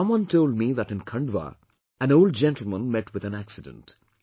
Someone told me that in Khandwa, an old gentleman met with an accident